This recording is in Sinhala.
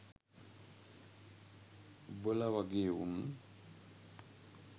උබල වගේ උන්